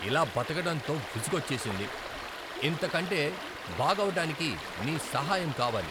ఇలా బతకటంతో విసుగొచ్చేసింది ! ఇంతకంటే బాగవటానికి నీ సహాయం కావాలి!